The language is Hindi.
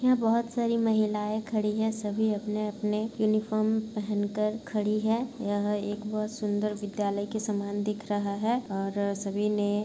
यहाँ बहुत सारी महिलाएं खड़ी है सभी अपने-अपने यूनिफार्म पेहेन कर खड़ी हैं यह एक बहुत सुंदर विद्यालय के समान दिख रहा है और सभी ने --